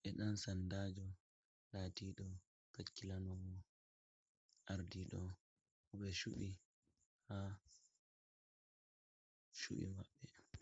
be dan sandajo latiɗo hakkilanowo ardiɗo koɓe chuɓɓi ha chuɓɓi maɓɓe.